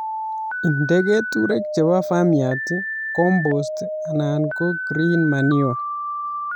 Inde keturek chebo farmyard, compost anan ko green manure